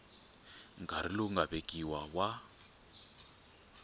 nkarhi lowu nga vekiwa wa